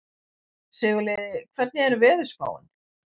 Sigurliði, hvernig er veðurspáin?